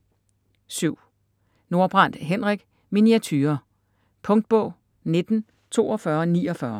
Nordbrandt, Henrik: Miniaturer Punktbog 194249